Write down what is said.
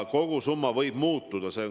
Kogusumma võib muutuda.